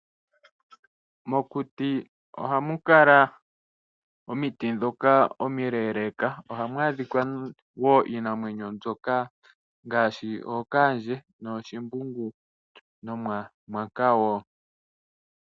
Mokuti ohamu kala omiti ndhoka omileeleka, ohamu kala wo iinamwenyo ngaashi ookaandje, ooshimbungu nomamwanka wo.